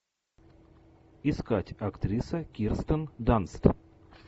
искать актриса кирстен данст